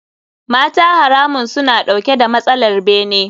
Mata haramun suna dauke da matsalar bene.